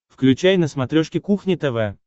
включай на смотрешке кухня тв